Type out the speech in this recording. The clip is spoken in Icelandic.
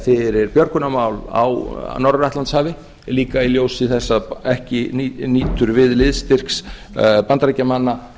fyrir björgunarmál á norður atlantshafi líka í ljósi þess að ekki nýtur við liðstyrks bandaríkjamanna